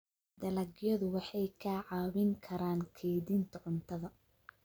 Dalagyadu waxay kaa caawin karaan kaydinta cuntada.